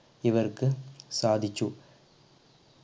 ഇവർക്ക് സാധിച്ചു